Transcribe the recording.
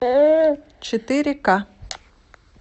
четыре ка